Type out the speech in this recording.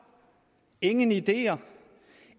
ingen ideer